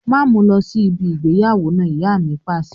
Máa mu lọ sí ibi ìgbéyàwó náà! Ìyá mi Pàṣẹ.